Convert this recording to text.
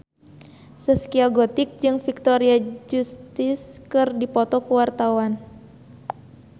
Zaskia Gotik jeung Victoria Justice keur dipoto ku wartawan